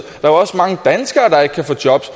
der er også mange danskere der ikke kan få jobs